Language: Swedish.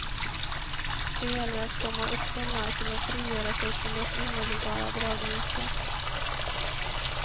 Det gäller att komma upp från marken och frigöra sig från dess omedelbara dragningskraft.